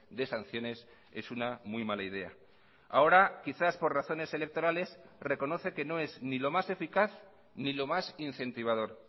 de sanciones es una muy mala idea ahora quizás por razones electorales reconoce que no es ni lo más eficaz ni lo más incentivador